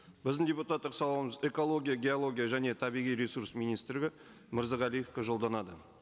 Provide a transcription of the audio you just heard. біздің депутаттық сауалымыз экология геология және табиғи ресурс министрлігі мырзағалиевке жолданады